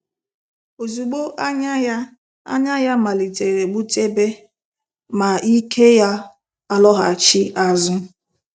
Ozugbo, "anya ya "anya ya malitere gbutebe, ma ike ya alọghachi azụ.